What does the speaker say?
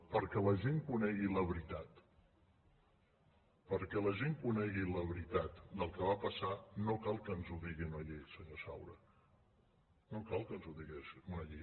perquè la gent conegui la veritat perquè la gent conegui la veritat del que va passar no cal que ens ho digui una llei senyor saura no cal que ens ho digui una llei